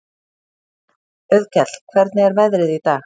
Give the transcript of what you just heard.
Auðkell, hvernig er veðrið í dag?